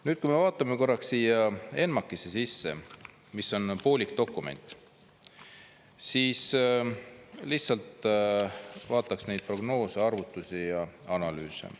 Nüüd, kui me vaatame korraks siia ENMAK-i sisse, mis on poolik dokument, siis lihtsalt vaataks neid prognoose, arvutusi ja analüüse.